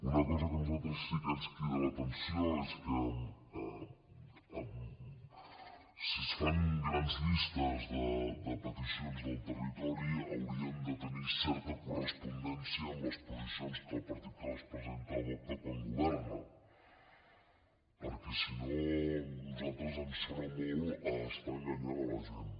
una cosa que a nosaltres sí que ens crida l’atenció és que si es fan grans llistes de peticions del territori haurien de tenir certa correspondència amb les posicions que el partit que les presenta adopta quan governa perquè si no a nosaltres ens sona molt a estar enganyant la gent